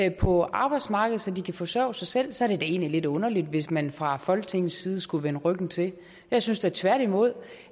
ind på arbejdsmarkedet så de kan forsørge sig selv så ville det lidt underligt hvis man fra folketingets side skulle vende ryggen til jeg synes da tværtimod